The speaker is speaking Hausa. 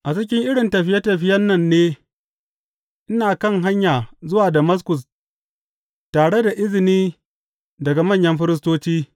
A cikin irin tafiye tafiyen nan ne ina kan hanya zuwa Damaskus tare da izini daga manyan firistoci.